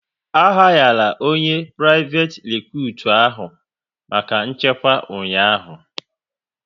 A hayara onye priveti recutu ahụ maka nchekwa ụnyaahụ